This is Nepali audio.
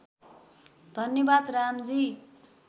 धन्यवाद रामजी